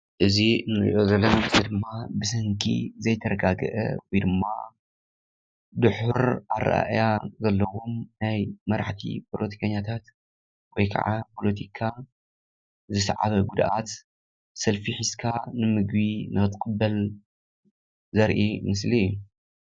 እዚ እነርእዮ ዘለና ምስሊ ድማ ብሰንኪ ዘይተረጋገአ ወይድማ ድሑር ኣረኣእያ ዘለዎም ናይ መራሕቲ ፖለቲከኛታት ወይከዓ ፖለቲካ ዝስዓበ ጉድኣት ሰልፊ ሒዝካ ንምግቢ ንክትቅበል ዘርኢ ምስሊ እዩ።